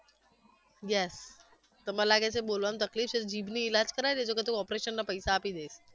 yes તમારે લાગે છે બોલવામાં તકલીફ છે જીભની ઈલાજ કરાવી દેજો પછી હુ operation ના પૈસા આપી દઈશ